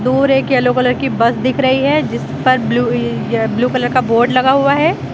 दूर एक yellow colour की बस दिख रही है ज़िस पर ब्लू ब्लू कलर का बोर्ड लगा हुआ है।